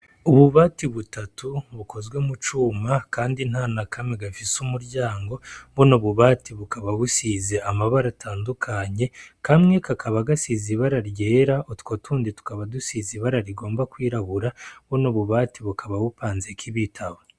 Ububati butatu bukozwe mucuma Kandi ntanakamwe gafis’umuryango, buno bubati bukaba busize amabara atandukanye, kamwe kakaba gasize ibara ryera, utwo tundi tukaba dusize ibara rigomba kwirabura, buno bubati bukaba bupanzek’ibitabo.